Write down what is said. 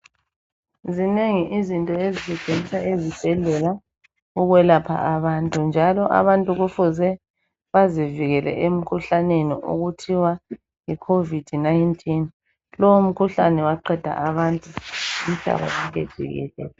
Zinengi izinto ezisetshenziswa esibhedlela ukwelapha abantu njalo abantu kufuze bazivikele emkhuhlaneni okuthiwa yiCovid-19 .Lowo mkhuhlane waqeda abantu umhlaba wonke jikelele.